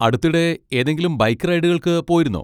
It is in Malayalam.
അടുത്തിടെ ഏതെങ്കിലും ബൈക്ക് റൈഡുകൾക്ക് പോയിരുന്നോ?